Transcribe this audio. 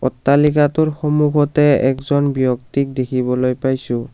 অট্টালিকাটোৰ সন্মুখতে একজন ব্যক্তিক দেখিবলৈ পাইছোঁ।